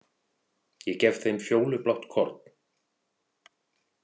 Ég gef þeim fjólublátt korn.